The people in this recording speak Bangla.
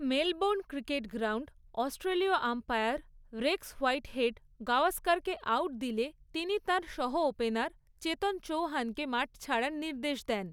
মেলবোর্ন ক্রিকেট গ্রাউন্ড অস্ট্রেলীয় আম্পায়ার রেক্স হোয়াইটহেড গাওস্করকে আউট দিলে তিনি তাঁর সহ ওপেনার চেতন চৌহানকে মাঠ ছাড়ার নির্দেশ দেন।